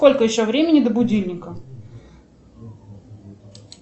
сколько еще времени до будильника